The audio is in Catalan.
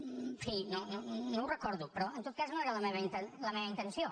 en fi no ho recordo però en tot cas no era la meva intenció